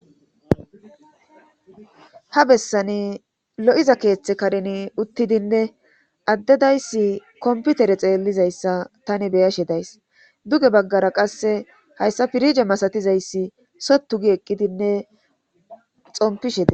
ha bessani lo7iza keeththe karin uttidinne addedayssi komputere xeellizayssa tani beya shedays duge baggara qasse hayssa pirige masatizayssi sottu gi eqqidinne xompi sheda